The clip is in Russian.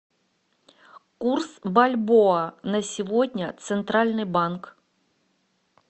курс бальбоа на сегодня центральный банк